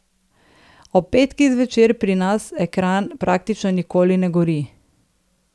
Ob petkih zvečer pri nas ekran praktično nikoli ne gori.